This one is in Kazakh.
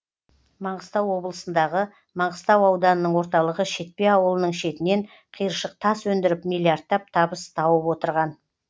маңғыстау облысындағы маңғыстау ауданының орталығы шетпе ауылының шетінен қиыршық тас өндіріп миллиардтап табыс тауып отырған